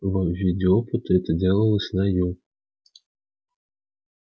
в виде опыта это делалось на ю